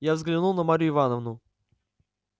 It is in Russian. я взглянул на марью ивановну